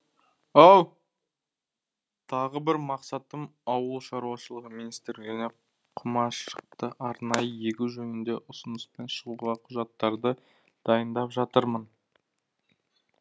тағы бір мақсатым ауыл шаруашылығы министрлігіне құмаршықты арнайы егу жөнінде ұсыныспен шығуға құжаттарды дайындап жатырмын